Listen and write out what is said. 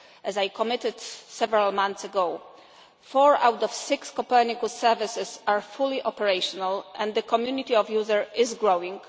As I commented several months ago, four out of six Copernicus services are fully operational and the community of users is growing.